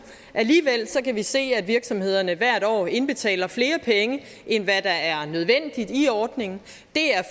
alligevel kan vi se at virksomhederne hvert år indbetaler flere penge end hvad der er nødvendigt i ordningen det er